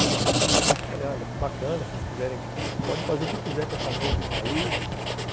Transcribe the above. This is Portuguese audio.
Mas, olha, bacana, vocês quiserem... Pode fazer o que quiser com essa música aí.